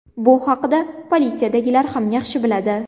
Bu haqida politsiyadagilar ham yaxshi biladi.